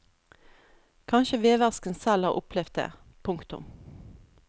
Kanskje veversken selv har opplevd det. punktum